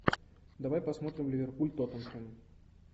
давай посмотрим ливерпуль тоттенхэм